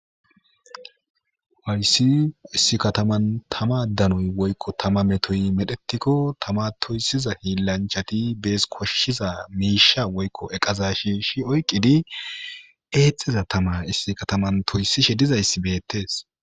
Hayssi issi kataman tama danoy woykko tama metoy medhetikko tama toysiza hiillanchati bees koshshiza miisha woykko eqaza shiishi oyqqidi eexxiza tama issi kataman toyssishe dizayssi beettes.